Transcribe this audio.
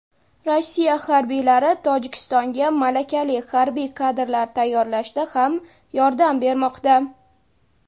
Rossiya harbiylari Tojikistonga malakali harbiy kadrlar tayyorlashda ham yordam bermoqda.